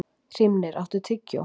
Hrímnir, áttu tyggjó?